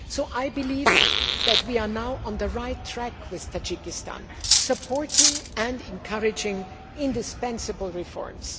I believe that we are now on the right track with Tajikistan, supporting and encouraging indispensable reforms.